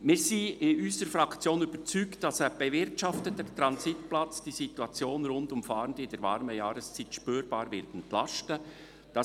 Wir sind in unserer Fraktion überzeugt, dass ein bewirtschafteter Transitplatz die Situation rund um Fahrende in der warmen Jahreszeit spürbar entlasten wird.